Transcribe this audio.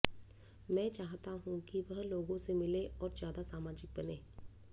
मैं चाहता हूं कि वह लोगों से मिले और ज्यादा सामाजिक बने